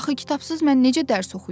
Axı kitabsız mən necə dərs oxuyum?